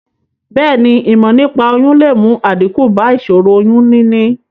Bèéni, ìmò nípaa oyún le mu àdíkù ba ìsòro oyún níní